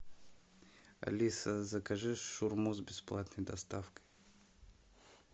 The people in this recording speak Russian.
алиса закажи шаурму с бесплатной доставкой